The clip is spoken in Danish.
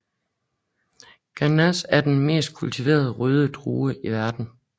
Grenache er den mest kultiverede røde drue i verden